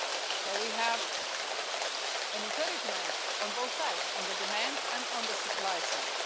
So we have encouragement on both sides on the demand and on the supply side.